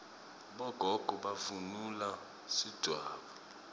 bogogo bavunula sidvwaba